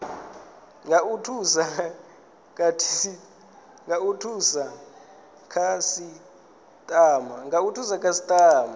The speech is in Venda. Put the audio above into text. nga u thusa khasitama